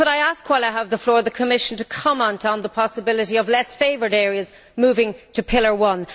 Could I ask, while I have the floor, the Commission to comment on the possibility of less favoured areas moving to pillar one?